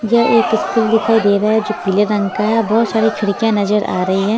यह एक स्कूल दिखाई दे रहा है जो पीले रंग का है और बहुत सारी खिड़कियां नजर आ रही है।